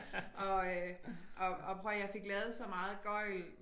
Og øh og og prøv at høre jeg fik lavet så meget gøgl